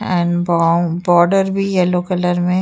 and बा border भी yellow colour में --